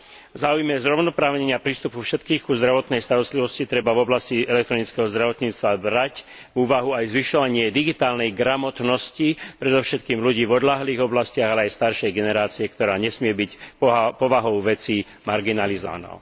V záujme zrovnoprávnenia prístupu všetkých ku zdravotnej starostlivosti treba v oblasti elektronického zdravotníctva brať do úvahy aj zvyšovanie digitálnej gramotnosti, predovšetkým ľudí v odľahlých oblastiach, ale aj staršej generácie, ktorá nesmie byť povahou veci marginalizovaná.